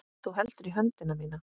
Þú heldur í höndina mína.